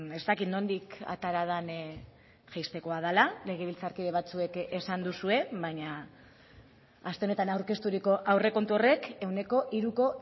ez dakit nondik atera den jaistekoa dela legebiltzarkide batzuek esan duzue baina aste honetan aurkezturiko aurrekontu horrek ehuneko hiruko